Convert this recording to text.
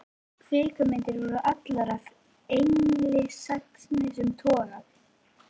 Kvikmyndir voru allar af engilsaxneskum toga.